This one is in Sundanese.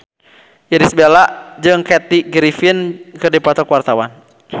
Irish Bella jeung Kathy Griffin keur dipoto ku wartawan